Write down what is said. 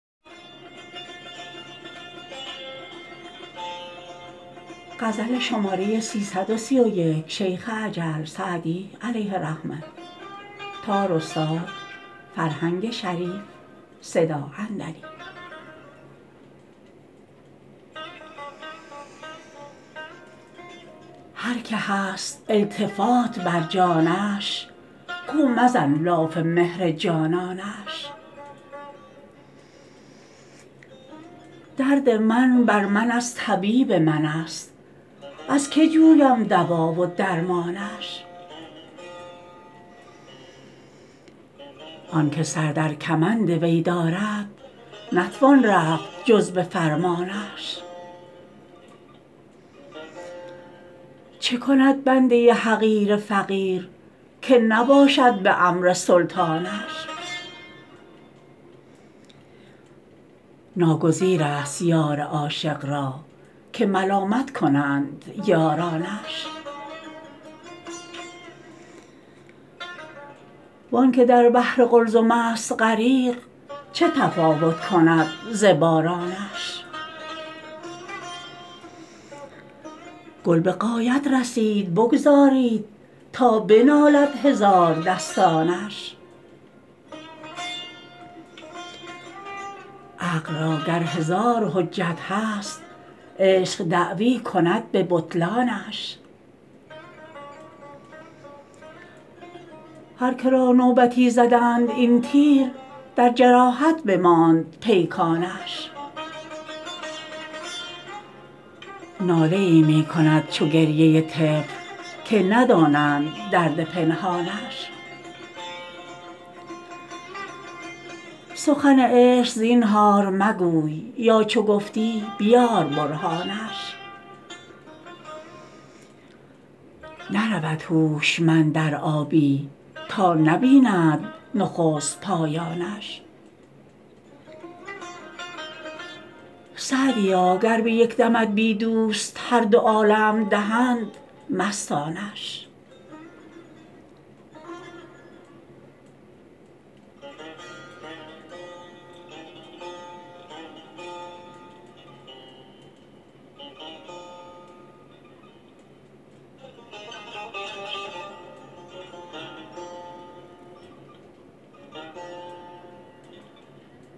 هر که هست التفات بر جانش گو مزن لاف مهر جانانش درد من بر من از طبیب من است از که جویم دوا و درمانش آن که سر در کمند وی دارد نتوان رفت جز به فرمانش چه کند بنده حقیر فقیر که نباشد به امر سلطانش ناگزیر است یار عاشق را که ملامت کنند یارانش وآن که در بحر قلزم است غریق چه تفاوت کند ز بارانش گل به غایت رسید بگذارید تا بنالد هزاردستانش عقل را گر هزار حجت هست عشق دعوی کند به بطلانش هر که را نوبتی زدند این تیر در جراحت بماند پیکانش ناله ای می کند چو گریه طفل که ندانند درد پنهانش سخن عشق زینهار مگوی یا چو گفتی بیار برهانش نرود هوشمند در آبی تا نبیند نخست پایانش سعدیا گر به یک دمت بی دوست هر دو عالم دهند مستانش